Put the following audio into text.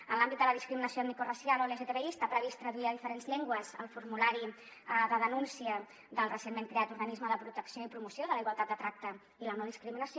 en l’àmbit de la discriminació etnicoracial o lgtbi està previst traduir a diferents llengües el formulari de denúncia del recentment creat organisme de protecció i promoció de la igualtat de tracte i la no discriminació